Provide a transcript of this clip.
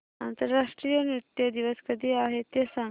आंतरराष्ट्रीय नृत्य दिवस कधी आहे ते सांग